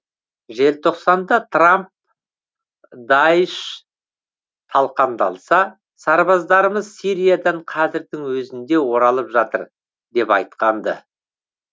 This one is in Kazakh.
желтоқсанда трамп даиш талқандалса сарбаздарымыз сириядан қазірдің өзінде оралып жатыр деп айтқан ды